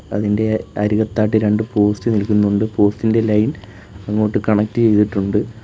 അതിന്റെ അരികത്തായിട്ട് രണ്ട് പോസ്റ്റ് നിൽക്കുന്നുണ്ട് പോസ്റ്റ് ഇന്റെ ലൈൻ അങ്ങോട്ട് കണക്ട് ചെയ്തിട്ടുണ്ട്.